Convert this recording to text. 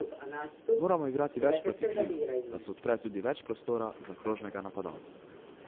Moramo igrati več proti krilom, da se odpre tudi več prostora za krožnega napadalca.